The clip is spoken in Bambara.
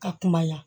Ka kuma yan